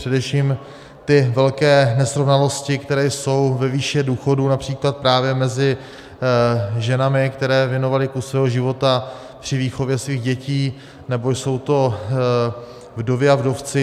Především ty velké nesrovnalosti, které jsou ve výši důchodů, například právě mezi ženami, které věnovaly kus svého života při výchově svých dětí, nebo jsou to vdovy a vdovci.